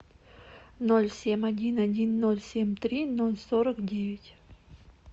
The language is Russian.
ноль семь один один ноль семь три ноль сорок девять